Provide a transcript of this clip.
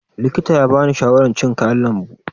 Likita ya bani shawaran cin kayan lambu.